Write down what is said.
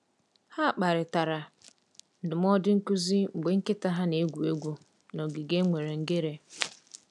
Ha kparịtara ndụmọdụ nkuzi mgbe nkịta ha na-egwu egwu n’ogige e nwere ngere.